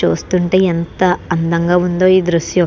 చూస్తుంటే ఎంత అందంగా ఉందో ఈ దృశ్యం.